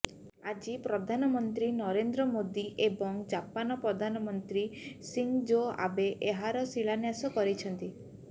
ଆଜି ପ୍ରଧାନମନ୍ତ୍ରୀ ନରେନ୍ଦ୍ର ମୋଦି ଏବଂ ଜାପାନ ପ୍ରଧାନମନ୍ତ୍ରୀ ସିଂଜୋ ଆବେ ଏହାର ଶିଳାନ୍ୟାସ କରିଛନ୍ତି